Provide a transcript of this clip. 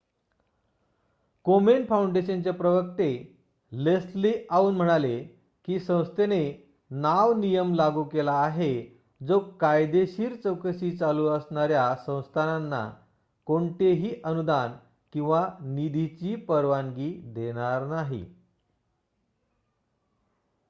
कोमेन Foundation चे प्रवक्ते Leslie Aun म्हणाले की संस्थेने नाव नियम लागू केला आहे जो कायदेशीर चौकशी चालू असणाऱ्या संस्थाना कोणतेही अनुदान किंवा निधीची परवानगी देणार नाही